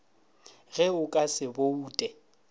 ge o ka se boute